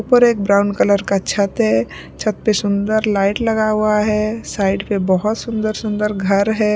ऊपर एक brown colour का छत है छत पे सुंदर लाइट लगा हुआ है साइड पे बहुत सुंदर सुंदर घर है।